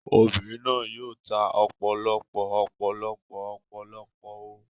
Obìnrin náà yóò ta ọ̀pọ̀lọpọ̀ ọ̀pọ̀lọpọ̀ ọ̀pọ̀lọpọ̀ ọ